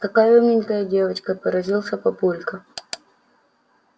какая умненькая девочка поразился папулька